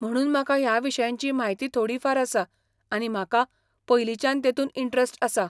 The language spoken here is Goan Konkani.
म्हणून म्हाका ह्या विशयांची म्हायती थोडी फार आसा आनी म्हाका पयलींच्यान तेतून इंट्रेस्ट आसा.